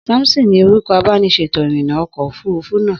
Samson ni orúkọ abániṣètò-ìrìnà ọkọ̀ òfurufú náà.